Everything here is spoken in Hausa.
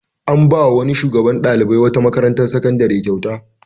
An ba wa wani shugaban ɗalibai na wata makarantar sakandare kyauta.